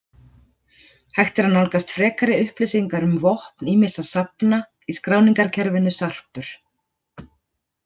Hægt er að nálgast frekari upplýsingar um vopn ýmissa safna í skráningarkerfinu Sarpur.